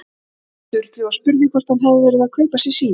Sturlu og spurði hvort hann hefði verið að kaupa sér síma.